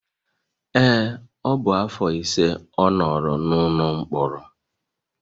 Ee, ọ bụ afọ ise ọ nọrọ n'ụlọ mkpọrọ